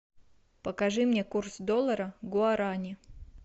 покажи мне курс доллара к гуарани